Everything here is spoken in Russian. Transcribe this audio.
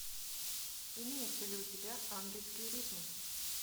имеется ли у тебя ангельские ритмы